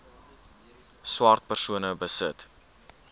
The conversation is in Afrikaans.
swart persone besit